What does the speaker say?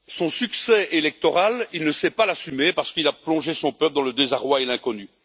Son succès électoral, il ne sait pas l'assumer, parce qu'il a plongé son peuple dans le désarroi et l'inconnu.